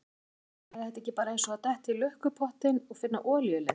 Kristján: Er þetta ekki bara eins og að detta í lukkupottinn og finna olíulind?